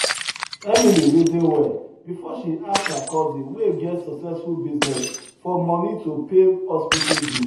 emily reason well before she ask her cousin wey get successful business for money to pay hospital bill